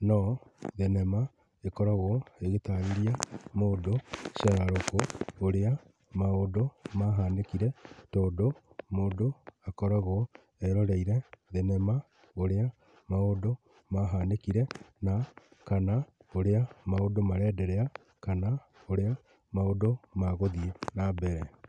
no thenema ĩkoragwo igĩtarĩria mũndũ cararũkũ ũrĩa maũndũ mahanĩkire tondũ mũndũ akoragwo eroreire thenema ũrĩa maũndũ mahanĩkire na kana ũrĩa maũndũ marenderea kana ũrĩa maũndũ magũthiĩ nambere.